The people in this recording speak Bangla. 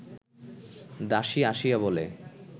দাসী আসিয়া বলে